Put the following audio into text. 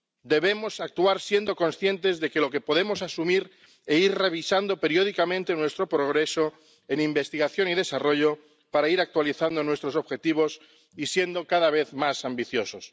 Debemos actuar siendo conscientes de lo que podemos asumir e ir revisando periódicamente en nuestro progreso en investigación y desarrollo, para ir actualizando nuestros objetivos y ser cada vez más ambiciosos.